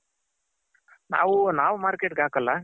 ನಾವು ನಾವ್ Market ಗೆ ಹಾಕ್ಕಲ್ಲ.